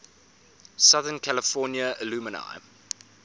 southern california alumni